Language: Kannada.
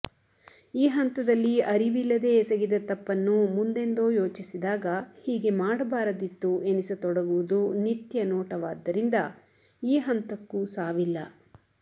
ಈ ಹಂತದಲ್ಲಿ ಅರಿವಿಲ್ಲದೇ ಎಸಗಿದ ತಪ್ಪನ್ನು ಮುಂದೆಂದೋ ಯೋಚಿಸಿದಾಗ ಹೀಗೆ ಮಾಡಬಾರದಿತ್ತು ಎನಿಸ ತೊಡಗುವುದು ನಿತ್ಯನೋಟವಾದ್ದರಿಂದ ಈ ಹಂತಕ್ಕೂ ಸಾವಿಲ್ಲ